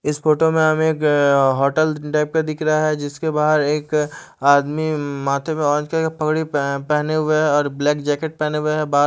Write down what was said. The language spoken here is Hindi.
इस फोटो में हमें एक होटेल टाइप का दिख रहा है जिसके बहार एक आदमी माथे पे पगड़ी पह पहने हुए है और ब्लैक जैकेट पहने हुए है बाहर--